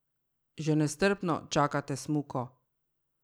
Že nestrpno čakate smuko?